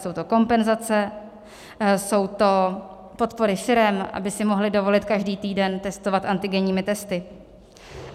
Jsou to kompenzace, jsou to podpory firem, aby si mohly dovolit každý týden testovat antigenními testy.